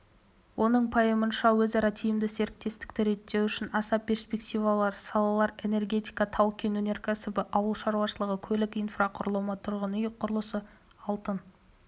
оның пайымынша өзара тиімді серіктестікті реттеу үшін аса перспективалы салалар энергетика тау-кен өнеркәсібі ауыл шаруашылығы көлік инфрақұрылымы тұрғын үй құрылысы алтын